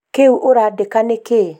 kĩũu ũrandĩka nĩkĩĩ?